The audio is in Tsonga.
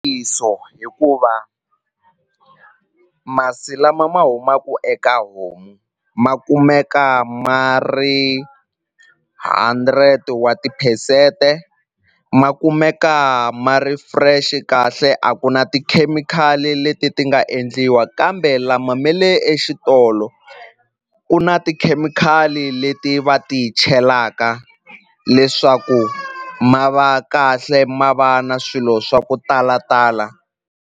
hikuva masi lama ma humaku eka homu ma kumeka ma ri hundred wa tiphesente ma kumeka ma ri fresh kahle a ku na tikhemikhali leti ti nga endliwa kambe lama me le exitolo ku na tikhemikhali leti va ti chelaka leswaku ma va kahle ma va na swilo swa ku talatala.